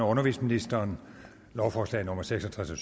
undervisningsministeren lovforslag nummer seks og tres og